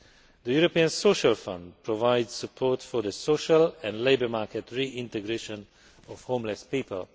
The European Social Fund provides support for the social and labour market reintegration of homeless people.